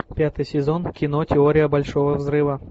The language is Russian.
пятый сезон кино теория большого взрыва